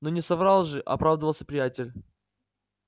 но не соврал же оправдывался приятель